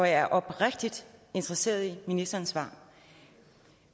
er oprigtigt interesseret i ministerens svar